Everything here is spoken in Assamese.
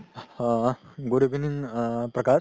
O good evening Prakash